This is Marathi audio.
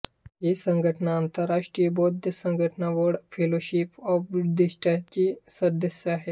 ही संघटना आंतरष्ट्रीय बौद्ध संघटना वर्ल्ड फिलोशिप ऑफ बुद्धिस्ट्सची सदस्य आहे